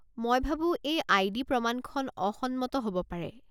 মই ভাবো এই আই.ডি. প্ৰমাণখন অসন্মত হ'ব পাৰে।